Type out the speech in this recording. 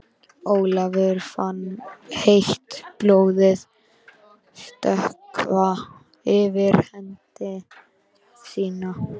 Ólafur fann heitt blóðið stökkva yfir hendi sína.